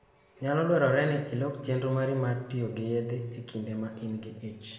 Nyalo dwarore ni ilok chenro mari mar tiyo gi yedhe e kinde ma in gi ich.